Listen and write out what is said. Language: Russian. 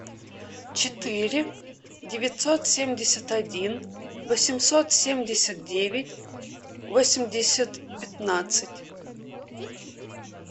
четыре девятьсот семьдесят один восемьсот семьдесят девять восемьдесят пятнадцать